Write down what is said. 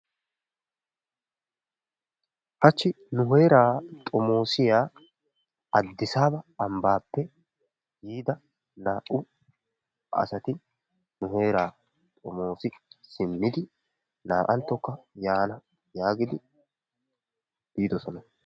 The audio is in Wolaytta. Hachchi nu heeraa xomoosiya Adisaaba ambaappe yiida naa'u asati nu heeraa xomoos simmidi naa'antokka yaana yaagidi biidosona.